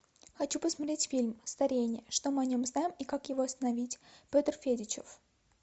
хочу посмотреть фильм старение что мы о нем знаем и как его остановить петр федичев